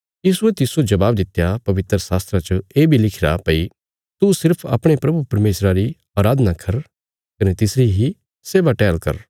यीशुये तिस्सो जवाब दित्या पवित्रशास्त्रा च ये बी लिखिरा भई तू सिर्फ अपणे प्रभु परमेशरा री अराधना कर कने तिसरी इ सेवा टैहल कर